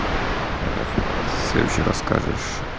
рассказ о себе расскажешь